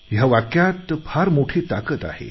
ह्या वाक्यात फार मोठी ताकत आहे